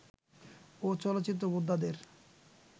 ও চলচ্চিত্র বোদ্ধাদের